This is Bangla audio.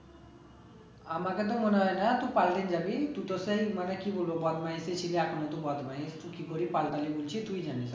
আমাকে তো মনে হয়ে না তুই পাল্টে জাবি তুই তো সেই মানে কি বলবো বদমাইশি ছিলি এখনো তুই বদমাইশ, তুই কি করে পাল্টালি বলছিস তুই জানিস